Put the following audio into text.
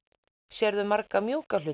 sérðu marga mjúka hluti